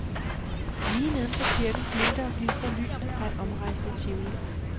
Lige nedenfor kirken glimter og glitrer lysene fra et omrejsende tivoli.